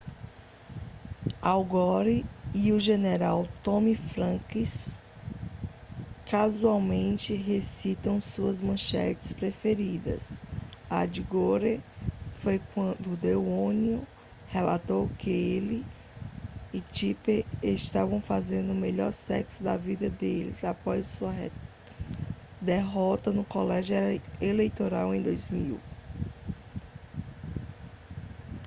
al gore e o general tommy franks casualmente recitam suas manchetes preferidas a de gore foi quando o the onion relatou que ele e tipper estavam fazendo o melhor sexo da vida deles após sua derrota no colégio eleitoral em 2000